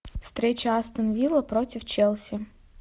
встреча астон вилла против челси